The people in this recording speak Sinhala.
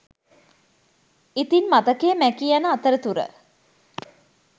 ඉතින් මතකය මැකී යන අතර තුර